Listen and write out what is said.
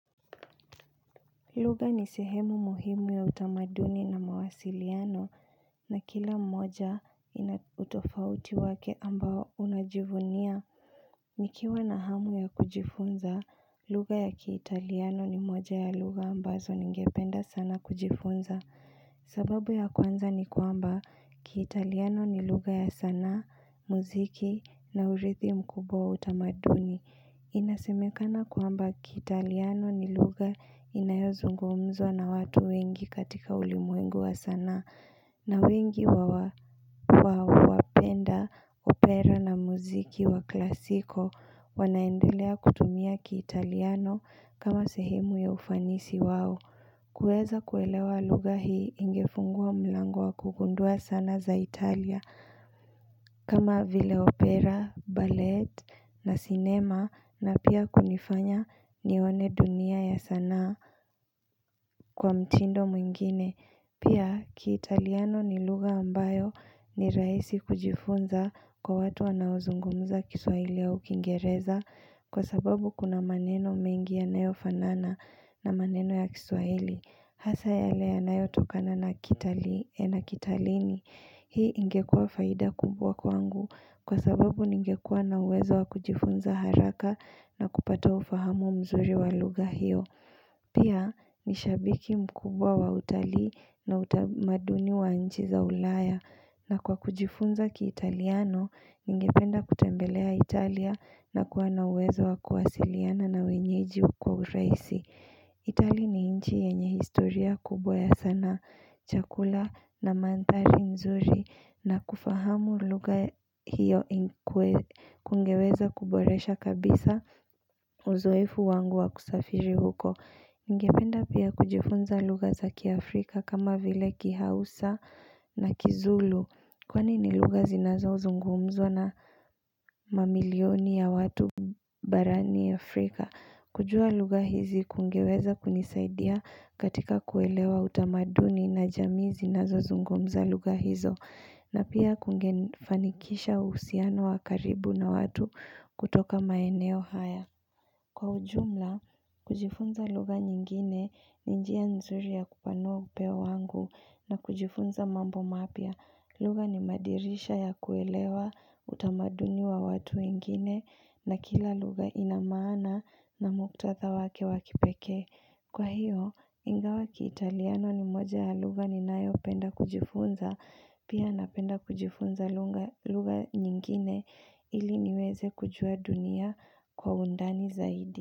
Lugha ni sehemu muhimu ya utamaduni na mawasiliano. Na kila mmoja ina utofauti wake ambao unajivunia. Nikiwa na hamu ya kujifunza, lugha ya kiitaliano ni moja ya lugha ambazo ningependa sana kujifunza. Sababu ya kwanza ni kwamba, kiitaliano ni lugha ya sanaa, muziki na urithi mkubwa wa utamaduni. Inasemekana kwamba, kiitaliano ni lugha inayozungumzwa na watu wengi katika ulimwengu wa sanaa. Na wengi wawapenda, opera na muziki wa klasiko. Wanaendelea kutumia kiitaliano kama sehemu ya ufanisi wao. Kueza kuelewa lugha hii, ingefungua mlango wa kugundua sanaa za Italia. Kama vile opera, ballet na cinema. Na pia kunifanya nione dunia ya sanaa kwa mtindo mwingine. Pia kiitaliano ni lugha ambayo ni rahisi kujifunza kwa watu wanaozungumza kiswahili au ukingereza. Kwa sababu kuna maneno mengi yanayofanana na maneno ya kiswahili. Hasa yale yanayotokana na kitalini. Hii ingekua faida kubwa kwangu kwa sababu ningekua na uwezo wa kujifunza haraka na kupata ufahamu mzuri wa lugha hiyo. Pia, nishabiki mkubwa wa utalii na utamaduni wa nchi za ulaya. Na kwa kujifunza kiitaliano, ningependa kutembelea Italia na kuwa na uwezo wa kuwasiliana na wenyeji hukuwa rahisi. Itali ni inchi yenye historia kubo ya sanaa. Chakula na manthari nzuri na kufahamu lugha hiyo. Kungeweza kuboresha kabisa uzoefu wangu wa kusafiri huko. Ngependa pia kujifunza lugha za Kiafrika kama vile Kihausa na Kizulu. Kwani ni lugha zinazozungumzwa na mamilioni ya watu barani Afrika. Kujua lugha hizi kungeweza kunisaidia katika kuelewa utamaduni na jamii zinazozungumza lugha hizo. Na pia kungefanikisha uhusiano wa karibu na watu kutoka maeneo haya. Kwa ujumla, kujifunza lugha nyingine ni njia nzuri ya kupanua upeo wangu na kujifunza mambo mapya. Lugha ni madirisha ya kuelewa utamaduni wa watu wengine. Na kila lugha ina maana na muktatha wake wa kipekee. Kwa hiyo, ingawa Kiitaliano ni moja ya lugha ninayopenda kujifunza Pia napenda kujifunza lugha nyingine ili niweze kujua dunia kwa undani zaidi.